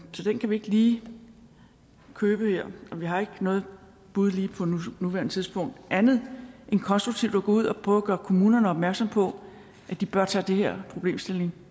så den kan vi ikke lige købe her og vi har ikke noget bud på nuværende tidspunkt andet end konstruktivt at gå ud og prøve at gøre kommunerne opmærksom på at de bør tage den her problemstilling